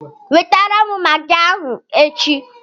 Wetara m Magị ahụ echi!